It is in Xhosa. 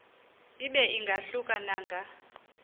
ibe ingahluka nanga